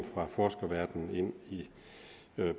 fra forskerverdenen ind i